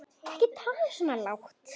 Ekki tala svona hátt.